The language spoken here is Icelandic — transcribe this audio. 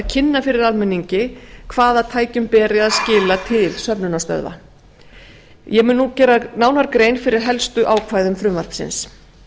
kynna fyrir almenningi hvaða tækjum beri að skila til söfnunarstöðva ég mun nú gera nánar grein fyrir helstu ákvæðum frumvarpsins